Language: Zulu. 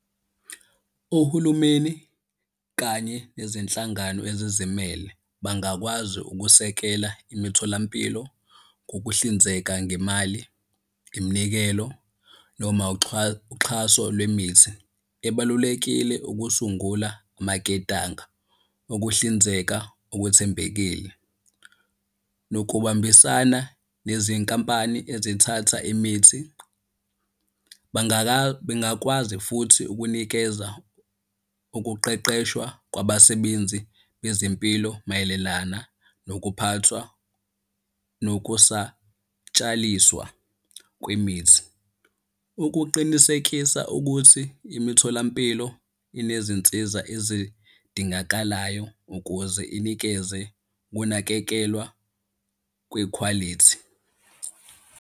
Ohulumeni kanye nezinhlangano ezizimele bangakwazi ukusekela imitholampilo ngokuhlinzeka ngemali, iminikelo noma uxhaso lwemithi ebalulekile ukusungula amaketanga okuhlinzeka okuthembekile. Nokubambisana nezinkampani ezithatha imithi bengakwazi futhi ukunikeza ukuqeqeshwa kwabasebenzi bezempilo mayelelana nokuphathwa nokusatshaliswa kwemithi. Ukuqinisekisa ukuthi imitholampilo inezinsiza ezidingakalayo ukuze inikeze ukunakekelwa kwikhwalithi.